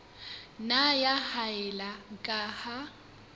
nna ya haella ka ha